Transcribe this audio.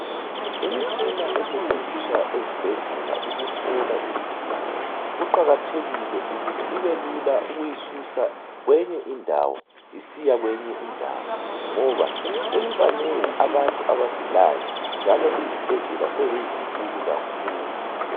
Imitshina esetshenziswa ezibhedlela ukuhlola izigulane kuqakathekile ukuthi kube lula ukuyisusa kwenye indawo isiya kwenyi ndawo ngoba sebebanengi abantu abagulayo njalo izibhedlela sezizinkulu kakhulu.